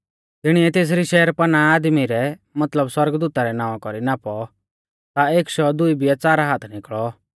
तिणिऐ तेसरी शहरपनाह आदमी रै मतलब सौरगदूता रै नावां कौरी नापौ ता एक शौ दुई बिऐ च़ार हाथ निकल़ौ